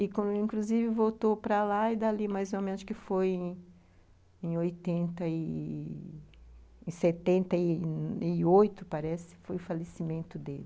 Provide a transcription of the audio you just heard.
E, inclusive, voltou para lá e dali, mais ou menos, que foi em oitenta e... em setenta e oito, parece, foi o falecimento dele.